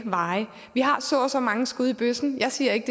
vej vi har så og så mange skud i bøssen jeg siger ikke